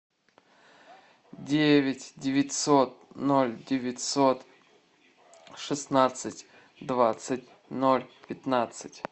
девять девятьсот ноль девятьсот шестнадцать двадцать ноль пятнадцать